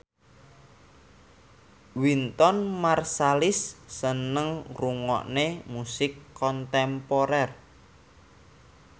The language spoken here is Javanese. Wynton Marsalis seneng ngrungokne musik kontemporer